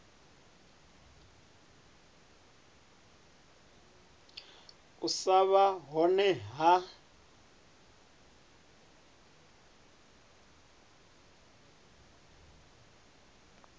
u sa vha hone ha